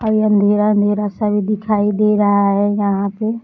और ये अँधेरा अँधेरा सा भी दिखाई दे रहा है यहाँ पे।